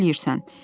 Yaxşı eləyirsən.